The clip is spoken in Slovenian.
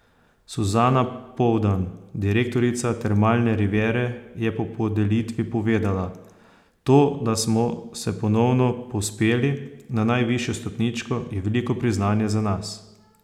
Suzana Poldan, direktorica Termalne riviere je po podelitvi povedala: ''To, da smo se ponovno povzpeli na najvišjo stopničko, je veliko priznanje za nas.